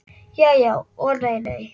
Já já og nei nei.